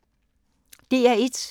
DR1